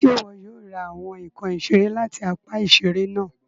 Ṣe iwọ yóò ra awọn nkán iṣere láti apá iṣere náà